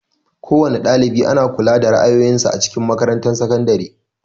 Kowana ɗalibi ana kula da rayuwan sa a cikin makarantar sakandare.